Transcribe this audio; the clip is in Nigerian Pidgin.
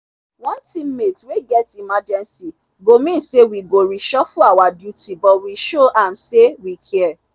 one teammate wey get emergency go mean say we go reshuffle our duty but we show am say we care.